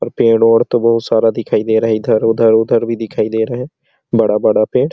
और पेड़ ओड़ तो बहुत सारा दिखाई दे रहा है इधर-उधर उधर भी दिखाई दे रहा है बड़ा बड़ा पेड़--